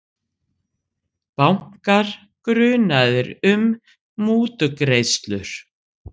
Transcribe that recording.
Bankar grunaðir um mútugreiðslur